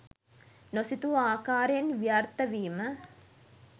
නොසිතූ ආකාරයෙන් ව්‍යාර්ථ වීම